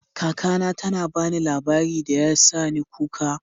Kaka na ta ba ni labari da ya sa ni kuka.